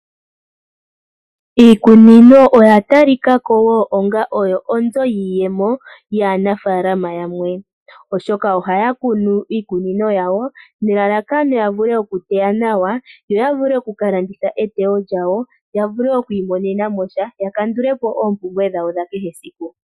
Iikunino oya talika ko wo onga oyo oonzo dhaanafaalama yamwe, oshoka ohaya kunu iikunino yawo nelalakano ya vule okuteya nawa yo ya vule oku ka landitha eteyo lyawo ya vule okwiimonena mo sha ya kandule po oompumbwe dhawo dha kehesiku.